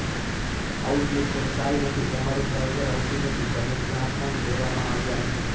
Outlook કોઈ ચાલ નથી તમારું બ્રાઉઝર આવતું નથી તમે ક્યાંય પણ લેવામાં આવ્યા નથી